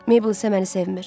Meybl isə məni sevmir.